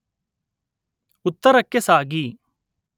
ಉತ್ತರಕ್ಕೆ ಸಾಗಿ